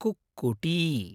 कुक्कुटी